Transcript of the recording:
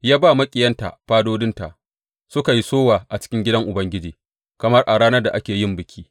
Ya ba maƙiyinta fadodinta; suka yi sowa a cikin gidan Ubangiji kamar a ranar da ake yin biki.